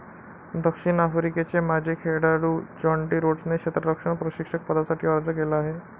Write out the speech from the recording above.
दक्षिण आफ्रिकेचे माजी खेळाडू ज्याँटी रोड्सने क्षेत्ररक्षण प्रशिक्षक पदासाठी अर्ज केला आहे.